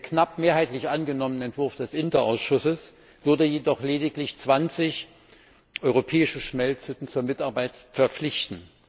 Der knapp mehrheitlich angenommene Entwurf des INTA Ausschusses würde jedoch lediglich 20 europäische Schmelzhütten zur Mitarbeit verpflichten.